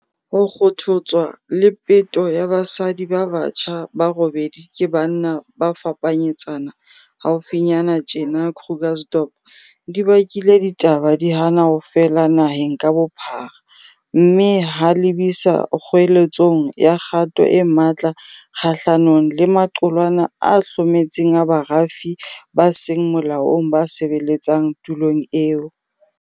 Ho kgothotswa le peto ya basadi ba batjha ba robedi ke banna ba fapanyetsana haufinyana tjena Krugersdorp di bakile ditaba di hana ho fela naheng ka bophara mme ha lebisa kgoeletsong ya kgato e matla kgahlanong le maqulwana a hlometseng a barafi ba seng molaong ba sebeletsang tulong eo.